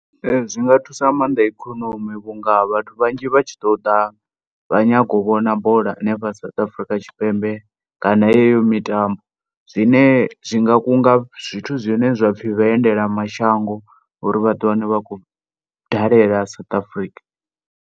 Zwi nga thusa nga maanḓa ikonomi vhunga vhathu vhanzhi vha tshi ḓo ḓa vha nyago u vhona bola henefho South Africa Tshipembe kana yeyo mitambo, zwine zwi nga kunga zwithu zwine zwapfhi vhaendelamashango uri vha ḓi wane vha khou dalela South Africa.